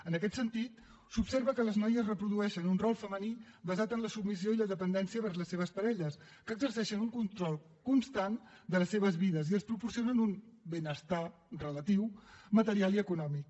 en aquest sentit s’observa que les noies reprodueixen un rol femení basat en la submissió i la dependència vers les seves parelles que exerceixen un control constant de les seves vides i els proporcionen un benestar relatiu material i econòmic